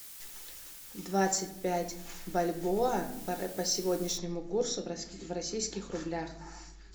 двадцать пять бальбоа по сегодняшнему курсу в российских рублях